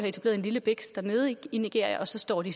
etableret en lille biks i nigeria og så står de